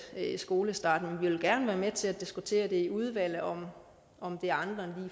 skolestart men vi vil gerne være med til at diskutere i udvalget om om det er andre